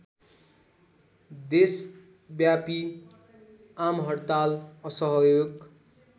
देशव्यापी आमहड्ताल असहयोग